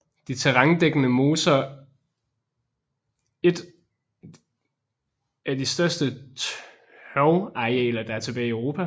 De terrændækkende moser et af de største tørvearealer der er tilbage i Europa